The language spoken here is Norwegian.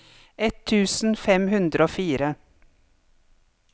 ett tusen fem hundre og fire